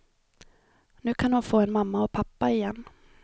Nu kan hon få en mamma och pappa igen.